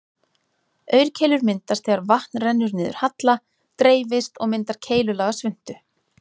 Aurkeilur myndast þegar vatn rennur niður halla, dreifist og myndar keilulaga svuntu.